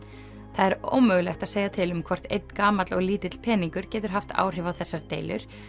það er ómögulegt að segja til um hvort einn gamall og lítill peningur getur haft áhrif á þessar deilur